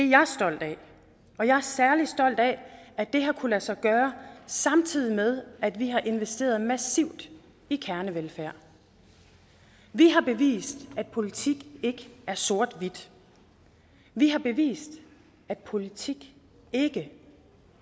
jeg stolt af og jeg er særlig stolt af at det har kunnet lade sig gøre samtidig med at vi har investeret massivt i kernevelfærd vi har bevist at politik ikke er sort hvidt vi har bevist at politik ikke